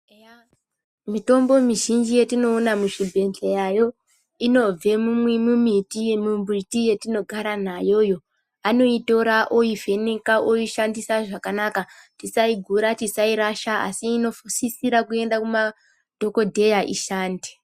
Eya mitombo mizhinji yatinoona muzvibhedhlera inobva kumbiti yatinogara nayo vanoitora voivheneka voishandisa zvakanaka tisaigura tisairasha asi inosisira kuenda kumadhokodheya ishande.